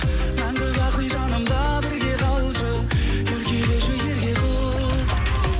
мәңгі бақи жанымда бірге қалшы еркелеші ерке қыз